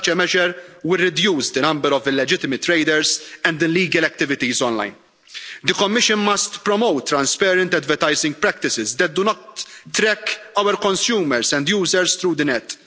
Such a measure would reduce the number of illegitimate traders and illegal activities online. The Commission must promote transparent advertising practices that do not track our consumers and users through the